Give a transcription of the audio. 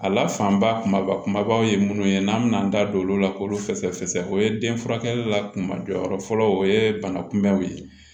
A lafaa kumaba kumabaw ye minnu ye n'an bɛna an da don olu la k'olu fɛsɛ fɛsɛ o ye den furakɛli la kuma jɔyɔrɔ fɔlɔ o ye banakunbɛnliw ye